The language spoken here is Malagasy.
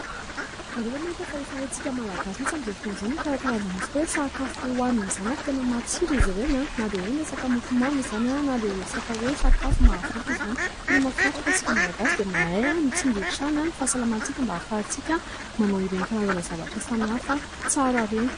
Ianareo ve mahita fa efa haintsika Malagasy mihitsy amin'izao fotoana izao ny mikarakara an'izany resaka hoe sakafo hohanina izany ary tena matsiro izy ireny na dia hoe ny resaka mofo mamy izany na dia resaka hoe sakafo mahavoky izany. Tena mahafinaritra fa isika Malagasy dia mahay mitsinjo hatrany ny fahasalamantsika mba ahafahantsika manao ireny karazana zavatra samihafa tsara ireny.